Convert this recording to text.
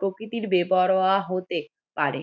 প্রকৃতির বেপরোয়া হতে পারে